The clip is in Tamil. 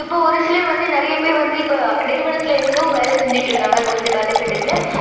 இப்போ ஒரு சிலர் வந்து நிறைய பேர் வந்து இப்போ நிறுவனத்துல இருந்தும் வேலை செஞ்சுட்டு இருந்தாங்க. கொஞ்சம் காலக்கட்டத்துல